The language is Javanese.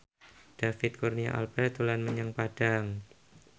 David Kurnia Albert dolan menyang Padang